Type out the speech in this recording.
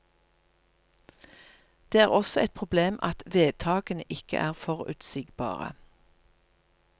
Det er også et problem at vedtakene ikke er forutsigbare.